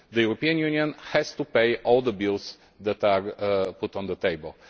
The European Union has to pay all the bills that are put on the table.